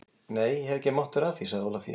Nei, ég hef ekki mátt vera að því, sagði Ólafía.